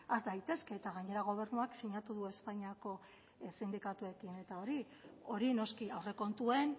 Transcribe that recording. has daitezke eta gainera gobernuak sinatu du espainiako sindikatuekin eta hori hori noski aurrekontuen